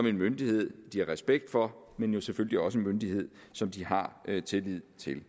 en myndighed de har respekt for men jo selvfølgelig også er en myndighed som de har tillid til